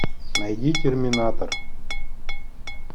найди терминатор